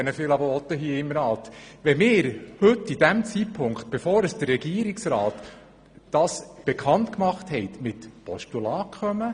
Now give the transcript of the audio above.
Wenn wir mit Postulaten kommen, noch bevor der Regierungsrat seine Sparvorschläge bekannt gemacht hat, setzen wir Prioritäten.